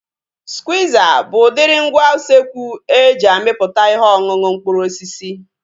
Skwiiza bụ udiri ngwa usekwu e ji amịpụta ihe ọṅụṅụ mkpụrụ osisi